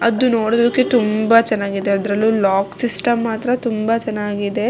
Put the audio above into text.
ಅದು ನೋಡೋದಕ್ಕೆ ತುಂಬಾ ಚೆನ್ನಗಿದೆ ಅದ್ರಲ್ಲೂ ಲಾಕ್ ಸಿಸ್ಟಮ್ ಮಾತ್ರ ತುಂಬಾ ಚೆನ್ನಾಗಿದೆ.